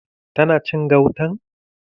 Ta na cin gautan?